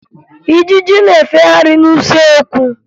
Ijiji na-efegharị n'usekwu